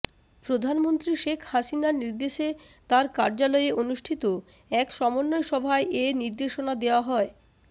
প্রধানমন্ত্রী শেখ হাসিনার নির্দেশে তার কার্যালয়ে অনুষ্ঠিত এক সমন্বয় সভায় এনির্দেশনা দেওয়া হয়